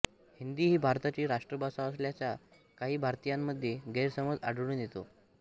हिंदी ही भारताची राष्ट्रभाषा असल्याचा काही भारतीयांमध्ये गैरसमज आढळून येतो